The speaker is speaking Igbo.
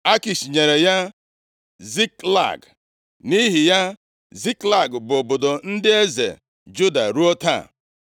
Akish nyere ya Ziklag, nʼihi ya, Ziklag bụ obodo ndị eze Juda ruo taa.